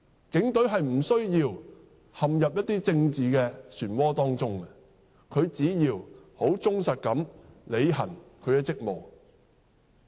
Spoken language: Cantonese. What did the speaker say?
警隊並無需要陷入政治漩渦，只需忠實地履行職務便可。